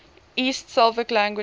east slavic languages